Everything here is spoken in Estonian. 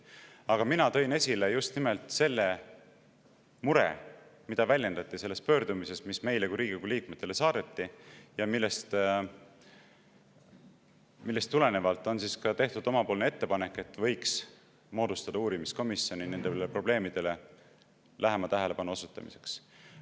Aga mina tõin esile just nimelt selle mure, mida väljendati selles pöördumises, mis meile ehk Riigikogu liikmetele saadeti ja millest tulenevalt on tehtud meie ettepanek, et võiks moodustada uurimiskomisjoni nendele probleemidele lähema tähelepanu osutamiseks.